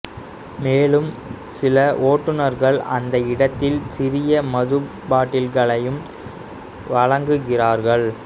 மேலும் சில ஓட்டுநர்கள் அந்த இடத்தில் சிறிய மது பாட்டில்களையும் வழங்குகிறார்கள்